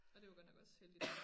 Og det var godt nok også heldigt